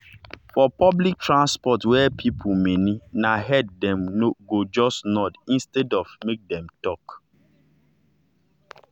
for public transport wey people many na head dem go just nod instead make dem talk.